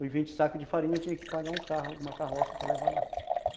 Os vinte sacos de farinha tinha que pagar um carro, uma carroça para levar lá.